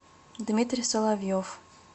дмитрий соловьев